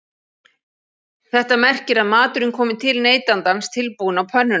Þetta merkir að maturinn komi til neytandans tilbúinn á pönnuna